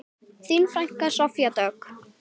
Þín frænka, Soffía Dögg.